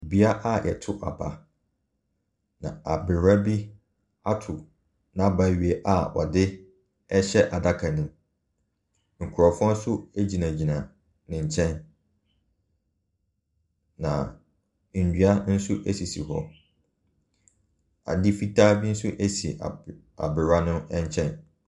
Beaeɛ a wɔto aba, na abererwa bi ato n'aba awie a ɔde rehyɛ adaka no mu. Nkurɔfoɔ nso gyinagyina ne nkyɛn, na nnua nso sisi hɔ. Adeɛ fitaa bi si abe aberewa no nkyɛn.